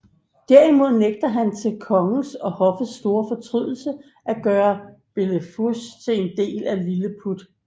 Derimod nægter han til kongens og hoffets store fortrydelse at gøre Blefuscu til en del af Lilleput